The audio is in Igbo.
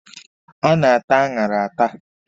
A na-ata aṅara ata.